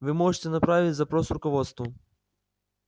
вы можете направить запрос руководству